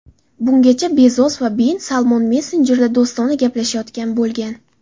Bungacha Bezos va bin Salmon messenjerda do‘stona gaplashayotgan bo‘lgan.